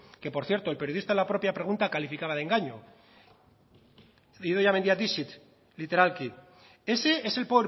que por cierto el periodista en la propia pregunta calificaba de engaño the idoia mendia deceit literalki ese es el